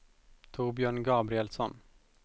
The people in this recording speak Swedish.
Torbjörn Gabrielsson